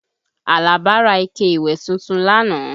Àlàbá ra ike ìwẹ̀ tuntun lánàá